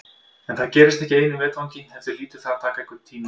En það gerist ekki í einu vetfangi heldur hlýtur það að taka einhvern tíma.